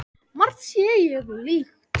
Margt sé líkt.